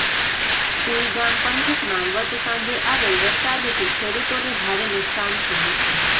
સુઇગામ પંથકમાં ગત સાંજે આવેલ વરસાદથી ખેડુતોને ભારે નુકશાન થયુ છે